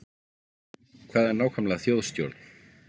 Hvað er nákvæmlega þjóðstjórn?